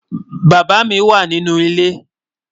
Bàbá mi wà nínú ilẹ̀.